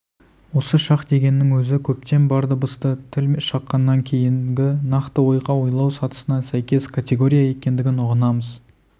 осы шақ дегеннің өзі көптен бар дыбысты тіл шыққаннан кейінгі нақты ойға ойлау сатысына сәйкес категория екендігін ұғынамыз